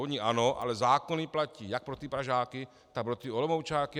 Oni ano, ale zákony platí jak pro ty Pražáky, tak pro ty Olomoučáky.